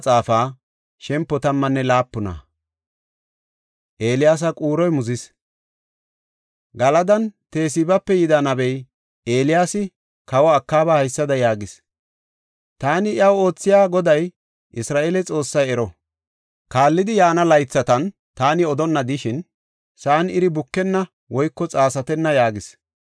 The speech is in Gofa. Galadan Tesibape yida nabey, Eeliyaasi kawa Akaaba haysada yaagis; “Taani iyaw oothiya Goday, Isra7eele Xoossay ero! Kaallidi yaana laythatan, taani odonna de7ishin, sa7an iri bukenna woyko xaasatenna” yaagis.